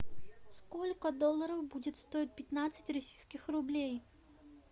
сколько долларов будет стоить пятнадцать российских рублей